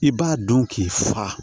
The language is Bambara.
I b'a dɔn k'i fa